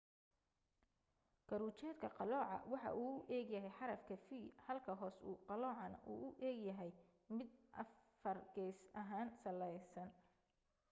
kor ujeedka qalooca waxa uu u eg yahay xarafka v halka hoos u qaloocana uu u egyahay mid afargeys salaheyn